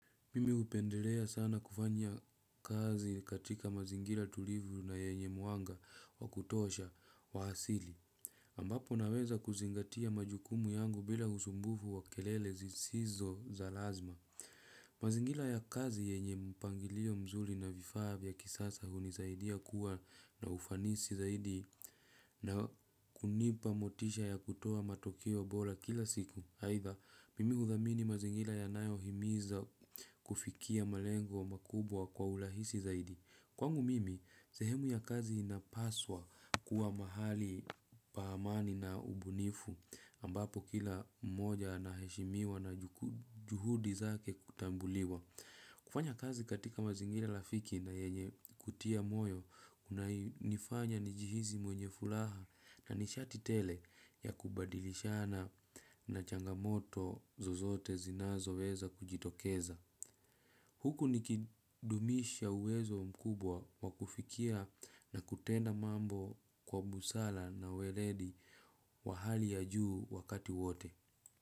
Mimi hupendelea sana kufanya kazi katika mazingira tulivu na yenye mwanga wa kutosha wa asili. Ambapo naweza kuzingatia majukumu yangu bila usumbufu wa kelele zisizo za lazma. Mazingira ya kazi yenye mpangilio mzuri na vifaa vya kisasa hunisaidia kuwa na ufanisi zaidi na kunipa motisha ya kutoa matokeo bora kila siku. Aidha, mimi hudhamini mazingira yanayohimiza kufikia malengo makubwa kwa urahisi zaidi. Kwangu mimi, sehemu ya kazi inapaswa kuwa mahali pa amani na ubunifu ambapo kila moja anaheshimiwa na juhudi zake kutambuliwa. Kufanya kazi katika mazingira rafiki na yenye kutia moyo, kunanifanya nijihisi mwenye fulaha na nishati tele ya kubadilishana na changamoto zozote zinazoweza kujitokeza. Huku nikidumisha uwezo mkubwa wa kufikia na kutenda mambo kwa busara na weledi wa hali ya juu wakati wote.